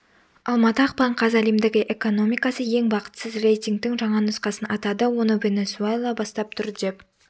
алматы ақпан қаз әлемдегі экономикасы ең бақытсыз рейтингтің жаңа нұсқасын атады оны венесуэла бастап тұр деп